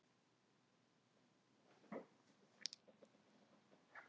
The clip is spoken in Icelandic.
Hann opnaði munninn og ætlaði að segja: Ég veit ekki hvað þú vilt mér eiginlega.